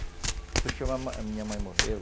Depois que a minha mãe morreu,